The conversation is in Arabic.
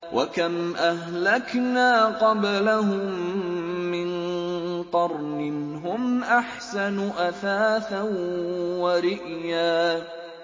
وَكَمْ أَهْلَكْنَا قَبْلَهُم مِّن قَرْنٍ هُمْ أَحْسَنُ أَثَاثًا وَرِئْيًا